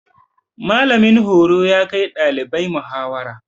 Mallamin horo ya kai ɗalibai muhawara.